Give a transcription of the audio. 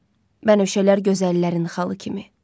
Bənövşələr gözəllərin xalı kimi.